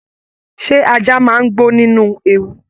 Ṣe ajá máa n gbó nínú ewu?